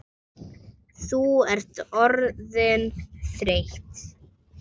Þú ert orðin þreytt.